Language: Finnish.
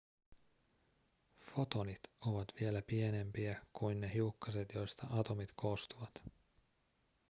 fotonit ovat vielä pienempiä kuin ne hiukkaset joista atomit koostuvat